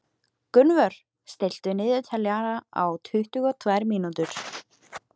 Gunnvör, stilltu niðurteljara á tuttugu og tvær mínútur.